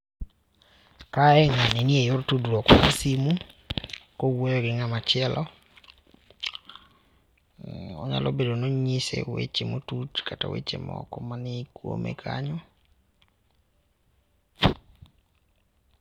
Kae ngani nie yor tudruok mar cs[simu]cs kowuoyo gi ng'amachielo. Onyalo Bedoni onyise weche matut kata weche moko mani kuome kanyo.